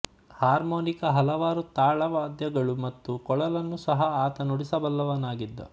harmonica ಹಲವಾರು ತಾಳ ವಾದ್ಯಗಳು ಮತ್ತು ಕೊಳಲುನ್ನೂ ಸಹ ಆತ ನುಡಿಸಬಲ್ಲವನಾಗಿದ್ದ